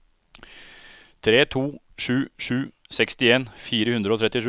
tre to sju sju sekstien fire hundre og trettisju